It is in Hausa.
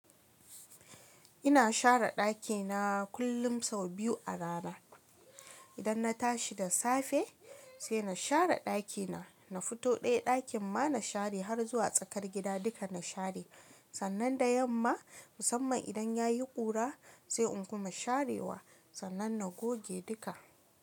Ina share ɗakina kullum sau biyu a rana. Idan na tashi da safe, sai na share ɗakina, na fito ɗaya ɗakin ma na share har zuwa tsakar gida duka na share. Sannan da yamma, musamman idan ya yi ƙura, sai in kuma share wa, sannan na goge duka.